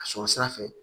Ka sɔrɔ sira fɛ